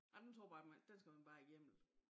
Ej den tror jeg bare den skal man bare igennem